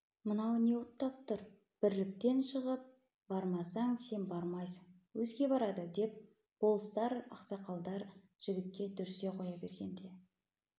мынау не оттап тұр бірліктен шығып бармасаң сен бармайсың өзге барады деп болыстар ақсақалдар жігітке дүрсе қоя бергенде